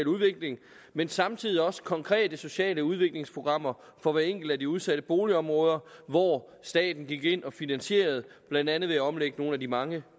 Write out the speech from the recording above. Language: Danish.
udvikling men samtidig også have konkrete sociale udviklingsprogrammer for hvert enkelt af de udsatte boligområder hvor staten gik ind og finansierede det blandt andet ved at omlægge nogle af de mange